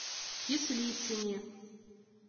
кислицыне